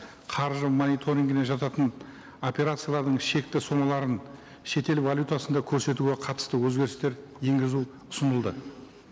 қаржы мониторингіне жататын операциялардың шекті сомаларын шетел валютасында көрсетуге қатысты өзгерістер енгізу ұсынылды